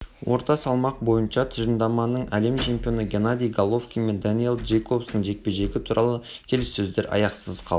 орта салмақ бойынша тұжырымдарының әлем чемпионы геннадий головкин мен дэниел джейкобстың жекпе-жегі туралы келіссөздер аяқсыз қалды